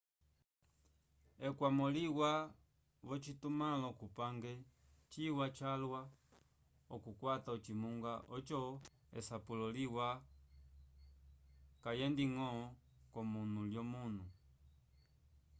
ekwamo liwa v'ocitumãlo cupange ciwa calwa okukwata ocimunga oco esapulo liwa kayendiñgo k'omunu l'omunu